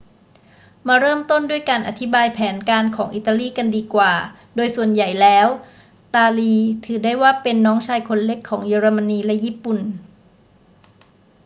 มาเริ่มต้นด้วยการอธิบายแผนการของอิตาลีกันดีกว่า โดยส่วนใหญ่แล้วตาลีถือได้ว่าเป็น น้องชายคนเล็ก ของเยอรมนีและญี่ปุ่น